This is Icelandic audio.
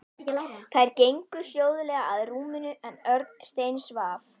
Þær gengu hljóðlega að rúminu en Örn steinsvaf.